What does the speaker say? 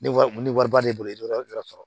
Ne wari ni wari b'ale bolo dɔrɔn i yɛrɛ sɔrɔ